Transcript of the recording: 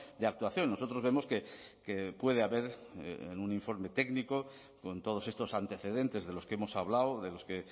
de actuación nosotros vemos que puede haber en un informe técnico con todos estos antecedentes de los que hemos hablado de los que